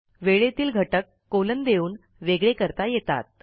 वेळेतील घटक कोलन देऊन वेगळे करता येतात